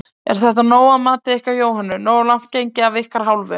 Er þetta nóg að mati ykkar Jóhönnu, nógu langt gengið af ykkar hálfu?